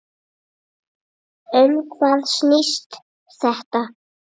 Um hvað snýst þetta?